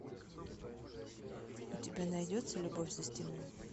у тебя найдется любовь за стеной